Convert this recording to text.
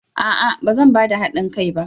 A'a! Ba zan ba da hadin kai ba.